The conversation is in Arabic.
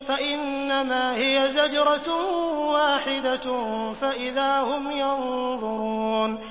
فَإِنَّمَا هِيَ زَجْرَةٌ وَاحِدَةٌ فَإِذَا هُمْ يَنظُرُونَ